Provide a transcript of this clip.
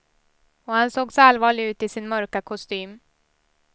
Och han såg så allvarlig ut i sin mörka kostym.